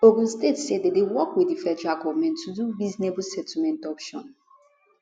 ogun state say dem dey work wit di federal govment to do reasonable settlement option